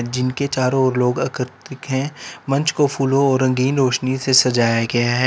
जिनके चारों ओर लोग आकर्षित हैं मंच को फूलों और रंगीन रोशनी से सजाया गया हैं।